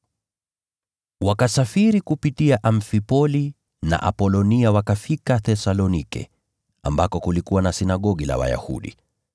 Wakasafiri kupitia Amfipoli na Apolonia wakafika Thesalonike, ambako kulikuwa na sinagogi la Wayahudi.